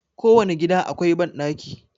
Ko wane gida akwai banɗaki.